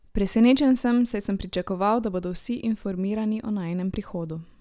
Presenečen sem, saj sem pričakoval, da bodo vsi informirani o najinem prihodu.